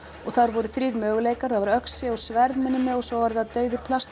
og þar voru þrír möguleikar það voru öxi og sverð minnir mig og svo var það dauður